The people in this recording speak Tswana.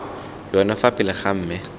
yone fa pele ga me